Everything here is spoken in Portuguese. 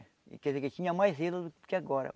Quer dizer, que tinha mais zelo do que agora.